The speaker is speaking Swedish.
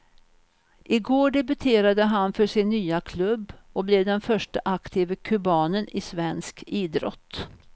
I går debuterade han för sin nya klubb och blev den förste aktive kubanen i svensk idrott.